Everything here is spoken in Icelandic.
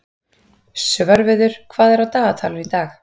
Svörfuður, hvað er á dagatalinu í dag?